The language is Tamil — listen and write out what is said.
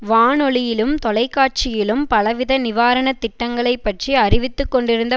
வானொலியிலும் தொலைக்காட்சியிலும் பலவித நிவாரனத் திட்டங்களை பற்றி அறிவித்து கொண்டிருந்த